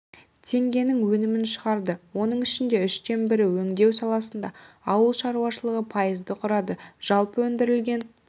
теңгенің өнімін шығарды оның ішінде үштен бірі өңдеу саласында ауыл шаруашылығы пайызды құрады жалпы өндірілген